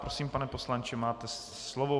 Prosím, pane poslanče, máte slovo.